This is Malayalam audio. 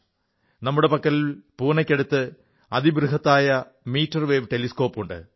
നമ്മുടെ പക്കൽ പൂനെയ്ക്കടുത്ത് അതിബൃഹത്തായ മീറ്റർ വേവ് ടെലിസ്കോപ്പുണ്ട്